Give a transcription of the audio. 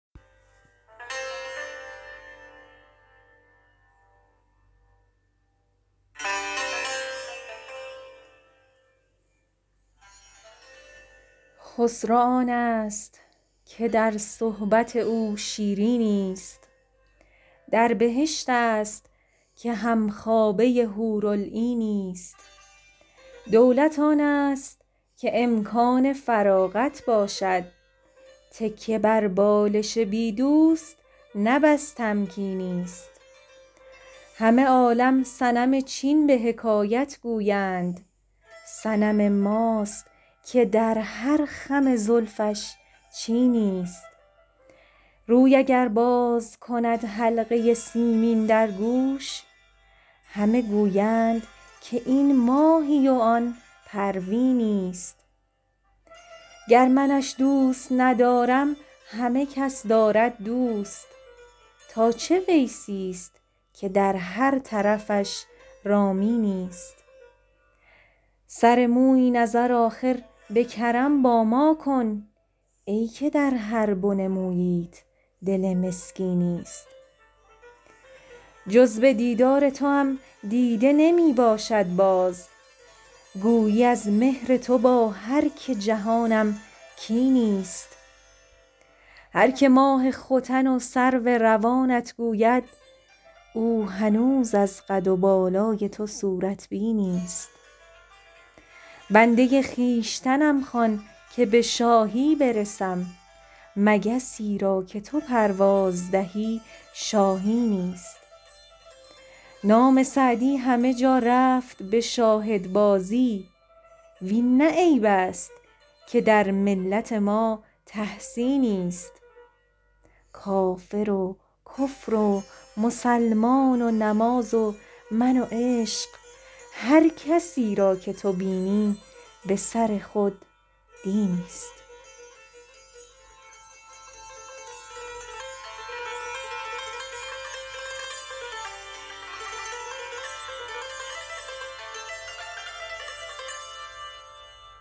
خسرو آنست که در صحبت او شیرینی ست در بهشت است که هم خوابه حورالعینی ست دولت آنست که امکان فراغت باشد تکیه بر بالش بی دوست نه بس تمکینی ست همه عالم صنم چین به حکایت گویند صنم ماست که در هر خم زلفش چینی ست روی اگر باز کند حلقه سیمین در گوش همه گویند که این ماهی و آن پروینی ست گر منش دوست ندارم همه کس دارد دوست تا چه ویسی ست که در هر طرفش رامینی ست سر مویی نظر آخر به کرم با ما کن ای که در هر بن موییت دل مسکینی ست جز به دیدار توام دیده نمی باشد باز گویی از مهر تو با هر که جهانم کینی ست هر که ماه ختن و سرو روانت گوید او هنوز از قد و بالای تو صورت بینی ست بنده خویشتنم خوان که به شاهی برسم مگسی را که تو پرواز دهی شاهینی ست نام سعدی همه جا رفت به شاهدبازی وین نه عیب است که در ملت ما تحسینی ست کافر و کفر و مسلمان و نماز و من و عشق هر کسی را که تو بینی به سر خود دینی ست